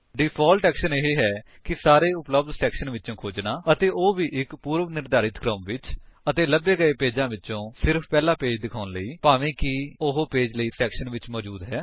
default action ਇਹ ਹੈ ਕਿ ਸਾਰੇ ਉਪਲੱਬਧ ਸੈਕਸ਼ਨ ਵਿੱਚ ਖੋਜਨਾ ਅਤੇ ਉਹ ਵੀ ਇੱਕ ਪੂਰਵਨਿਰਧਾਰਿਤ ਕ੍ਰਮ ਵਿੱਚ ਅਤੇ ਲਭੇ ਗਏ ਪੇਜਾਂ ਵਿੱਚੋਂ ਸਿਰਫ ਪਹਿਲਾ ਪੇਜ ਦਿਖਾਉਣ ਲਈ ਭਾਵੇਂ ਕਿ ਉਹ ਪੇਜ ਕਈ ਸੈਕਸ਼ਨਸ ਵਿੱਚ ਮੌਜੂਦ ਹੈ